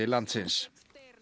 landsins